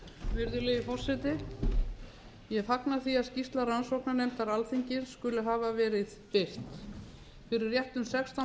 virðulegi forseti ég fagna því að skýrsla rannsóknarnefndar alþingis skuli hafa verið birt fyrir réttum sextán